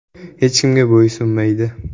Hech kimga bo‘ysunmaydi.